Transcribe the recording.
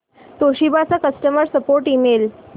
Toshiba चा customer support email